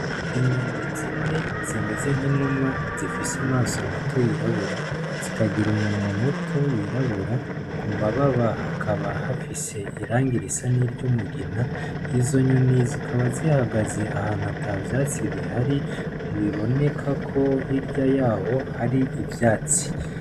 Inyoni zine zimeze nk'inuma zifise amaso mato yirabura zikagira umunwa muto wirabura ku mababa hakaba hafise iranga irisa n'iryo umugina izo nyoni zikaba zihagaze ahantu ata vyatsi bihari mubiboneka ko hirya yaho hari ivyatsi.